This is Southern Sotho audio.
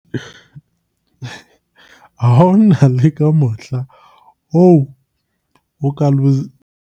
Ha ona le ka mohla oo o ka .